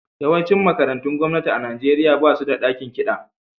Yawancin makarantun gwamnati a Nijeriya ba su da dakin kiɗa.